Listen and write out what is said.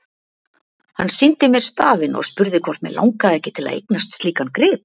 Hann sýndi mér stafinn og spurði hvort mig langaði ekki til að eignast slíkan grip.